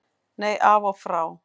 Nei, af og frá.